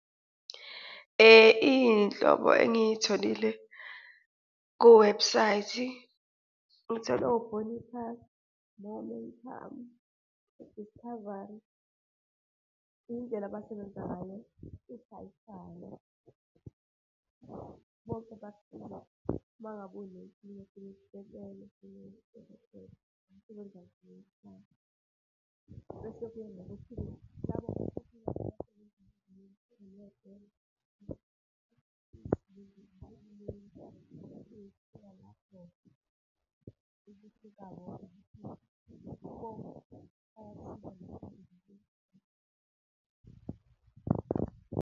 Iy'nhlobo engitholile kuwebhusayithi, ngithole o-Bonitas, Momentum, u-Discovery indlela abasebenza ngayo ithi ayifane. Bonke bese kuya ngokuthi ke labo .